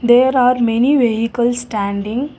there are many vehicles standing.